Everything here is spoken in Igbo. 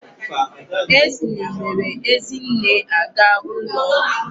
Acne mere Ezinne aga ụlọ ọgwụ.